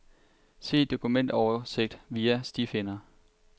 Se dokumentoversigt via stifinder.